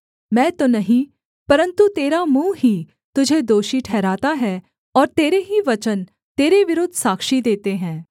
मैं तो नहीं परन्तु तेरा मुँह ही तुझे दोषी ठहराता है और तेरे ही वचन तेरे विरुद्ध साक्षी देते हैं